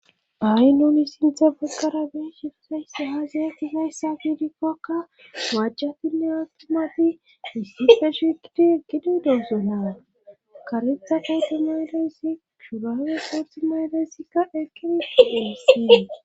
Hay nuni sinthe baggara beesshuusayssa hazayatisayssa fiidikkokka wajcjatinne atumati issife shigidi eggido denso na karetha keetumay leyssi shurawe qaxumay leyssikka eqqidi de'essi.